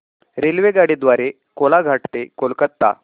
रेल्वेगाडी द्वारे कोलाघाट ते कोलकता